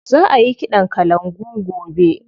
Za a yi ƙiɗan kalangu gobe.